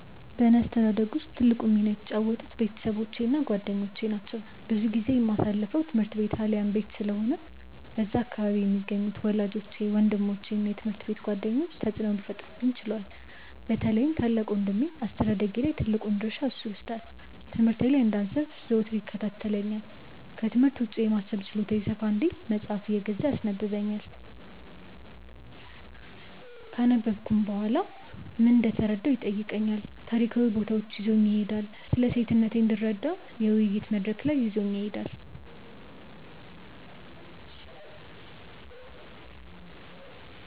በእኔ አስተዳደግ ውስጥ ትልቁን ሚና የተጫወቱት ቤተሰቦቼ እና ጓደኞቼ ናቸው። ብዙ ጊዜዬን የማሳልፈው ትምህርት ቤት አሊያም ቤት ስለሆነ በዛ አካባቢ የሚገኙት ወላጆቼ፤ ወንድሞቼ እና የትምሀርት ቤት ጓደኞቼ ተጽእኖ ሊፈጥሩብኝ ችለዋል። በተለይም ታላቅ ወንድሜ አስተዳደጌ ላይ ትልቁን ድርሻ እርሱ ይወስዳል። ትምህርቴ ላይ እንዳልሰንፍ ዘወትር ይከታተለኛል፤ ክትምህርት ውጪ የማሰብ ችሎታዬ ሰፋ እንዲል መጽሃፍ እየገዛ ያስነበብኛል፤ ካነበብኩም በኋላ ምን እንደተረዳሁ ይጠይቀኛል፤ ታሪካዊ ቦታዎች ይዞኝ ይሄዳል፤ ስለሴትነቴ እንድረዳ የውይይት መድረክ ላይ ይዞኝ ይሄዳል።